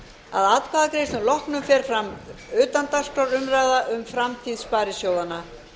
að atkvæðagreiðslum loknum fer fram utandagskrárumræða um framtíð sparisjóðanna